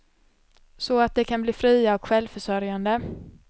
Så att de kan bli fria och självförsörjande.